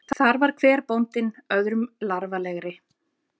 Þar var hver bóndinn öðrum larfalegri.